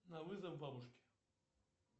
на вызов бабушки